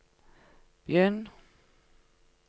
begynn